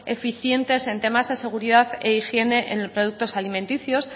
eficientes en temas de seguridad e higiene en productos alimenticios